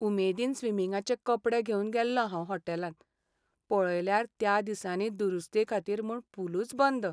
उमेदीन स्विमिंगाचे कपडे घेवन गेल्लों हांव हॉटेलांत, पळयल्यार त्या दिसांनी दुरुस्तेखातीर म्हूण पूलुच बंद!